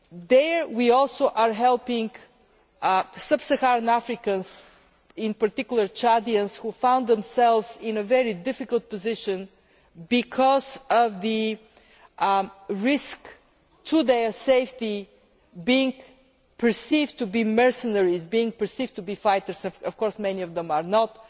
There we also are helping sub Saharan Africans, in particular Chadians, who found themselves in a very difficult position because of the risk to their safety, being perceived to be mercenaries, being perceived to be fighters, when of course many of them are not.